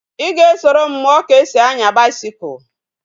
I ga esoro m muo ka esi anya bicycle